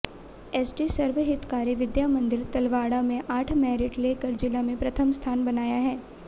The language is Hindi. एसडी सर्वहितकारी विद्या मंदिर तलवाड़ा में आठ मैरिट लेकर जिला में प्रथम स्थान बनाया है